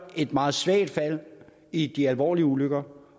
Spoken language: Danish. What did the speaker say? et meget svagt fald i de alvorlige ulykker